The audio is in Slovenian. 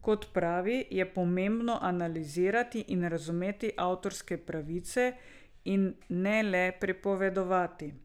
Kot pravi, je pomembno analizirati in razumeti avtorske pravice in ne le prepovedovati.